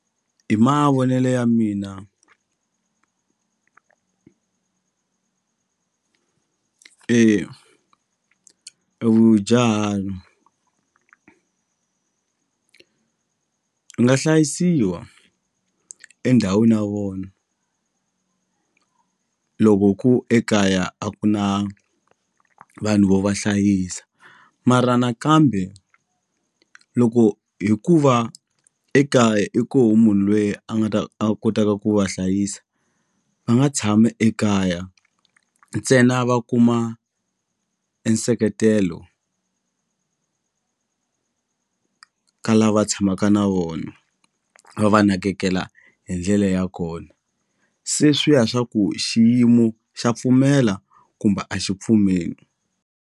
Hi mavonelo ya mina e vudyahari nga hlayisiwa endhawini ya vona loko ku ekaya a ku na vanhu vo va hlayisa mara nakambe loko hi ku va ekaya i koho munhu lweyi a nga ta a kotaka ku va hlayisa va nga tshama ekaya ntsena va kuma e nseketelo ka lava tshamaka na vona va va nakekela hi ndlela ya kona se swi ya swa ku xiyimo xa pfumela kumbe a xi pfumeli.